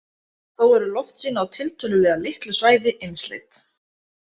Þó eru loftsýni á tiltölulega litlu svæði einsleit.